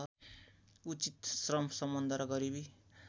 उचित श्रमसम्बन्ध र गरीबी